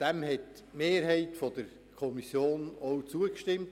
Die Mehrheit der Kommission hat dem auch zugestimmt.